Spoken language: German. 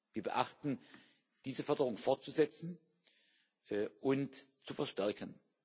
Wir beabsichtigen, diese Förderung fortzusetzen und zu verstärken.